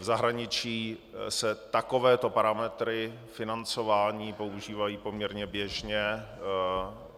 V zahraničí se takovéto parametry financování používají poměrně běžně.